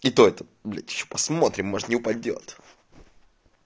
и то это блять ещё посмотрим может не упадёт